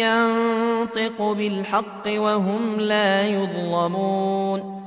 يَنطِقُ بِالْحَقِّ ۚ وَهُمْ لَا يُظْلَمُونَ